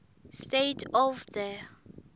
state of the